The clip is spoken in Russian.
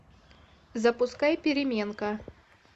запускай переменка